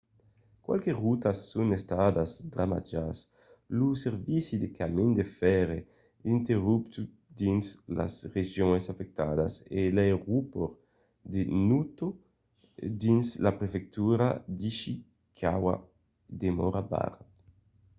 qualques rotas son estadas damatjadas lo servici de camin de fèrre interromput dins las regions afectadas e l'aeropòrt de noto dins la prefectura d'ishikawa demòra barrat